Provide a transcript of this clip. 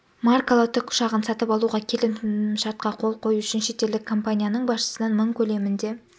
маркалы тік ұшағын сатып алуға келісім шартқа қол қою үшін шетелдік компанияның басшысынан мың көлемінде